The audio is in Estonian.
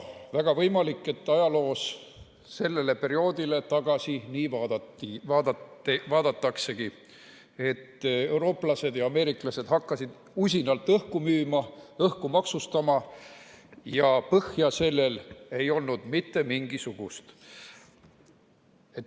Väga võimalik, et ajaloos sellele perioodile nii tagasi vaadataksegi, et eurooplased ja ameeriklased hakkasid usinalt õhku müüma, õhku maksustama, ja põhja ei olnud sellel mitte mingisugust.